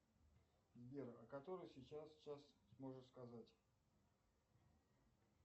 сбер а который сейчас час можешь сказать